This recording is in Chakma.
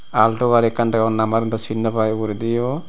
ekkan deyon nambar un dw sin nw pai ugurediyo.